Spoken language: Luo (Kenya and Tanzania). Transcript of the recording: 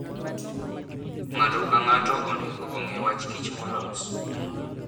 Ng'ato ka ng'ato onego ong'e wach kich molos.